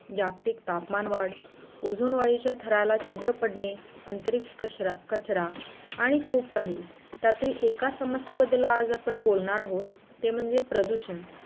जागतिक तापमान वाढ ओजोन वायुच्या थराला छिद्रं पडणे आंतरिक कचरा आणि खूप काही त्यातील एका समस्ये बद्दल आज आपण बोलणार आहोत ते म्हणजे प्रदुषण.